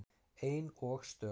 Ein og stök.